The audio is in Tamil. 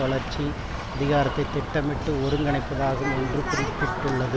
வளர்ச்சி அதிகாரத்தை திட்டமிட்டு ஒருங்கிணைப்பதாகும் என்று குறிப்பிட்டுள்ளது